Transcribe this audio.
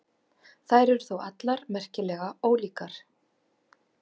Þær eru þó allar merkilega ólíkar.